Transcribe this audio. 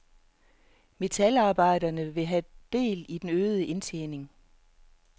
Metalarbejderne vil have del i den øgede indtjening.